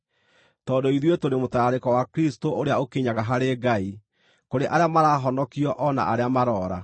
Tondũ ithuĩ tũrĩ mũtararĩko wa Kristũ ũrĩa ũkinyaga harĩ Ngai, kũrĩ arĩa marahonokio o na arĩa maroora.